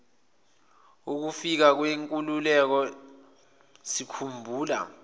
yokufika kwenkululeko sikhumbula